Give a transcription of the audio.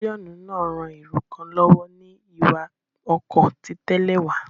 Pílíọ́nù náà ran èrò kan lọ́wọ́ ní ìwà ọkọ ti tẹ́lẹ̀ wa